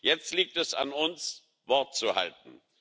Jetzt liegt es an uns, Wort zu halten.